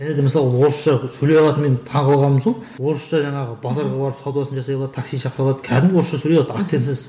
және де мысалы орысша сөйлей алады мен таңғалғаным сол орысша жаңағы базарға барып саудасын жасай алады таксиін шақырта алады қәдімгі орысша сөйлей алады акцентсіз